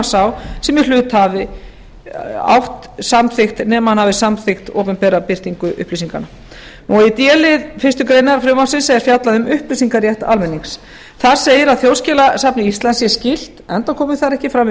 sá sem í hlut á hafi samþykkt opinbera birtingu upplýsinganna í d lið fyrstu grein frumvarpsins er fjallað um upplýsingarétt almennings þar segir að þjóðskjalasafni íslands sé skylt enda komi þar ekki fram